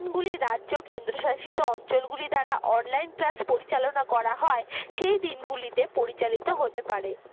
রাজ্য কেন্দ্র শাসিত অঞ্চল গুলি দ্বারা online class পরিচালনা করা হয় সেই দিন গুলিতে পরিচালিত হতে পারে